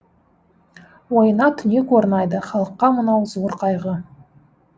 ойына түнек орнайды халыққа мынау зор қайғы